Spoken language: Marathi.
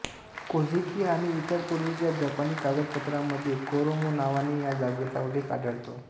कोझिकी आणि इतर पूर्वीच्या जपानी कागदपत्रांमध्ये कोरोमो नावाने या जागेचा उल्लेख आढळतो